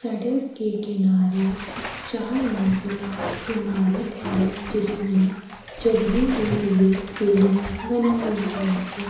सड़क के किनारे चार मंजिला ईमारत है जिसमे चड़ने के लिए सीड़ियाँ बनाई हुई है।